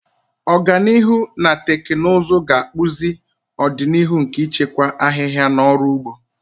Ọganihu na teknụzụ ga-akpụzi ọdịnihu nke ịchịkwa ahịhịa na ọrụ ugbo.